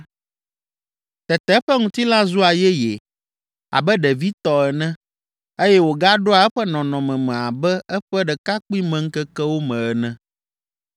tete eƒe ŋutilã zua yeye abe ɖevi tɔ ene eye wògaɖoa eƒe nɔnɔme me abe eƒe ɖekakpuimeŋkekewo me ene.